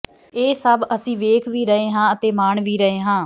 ਇਹ ਸੱਭ ਅਸੀਂ ਵੇਖ ਵੀ ਰਹੇ ਹਾਂ ਅਤੇ ਮਾਣ ਵੀ ਰਹੇ ਹਾਂ